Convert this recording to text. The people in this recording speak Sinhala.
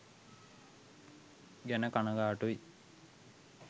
ගැන කනගාටුයි.